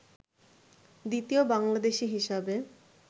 দ্বিতীয় বাংলাদেশী হিসাবে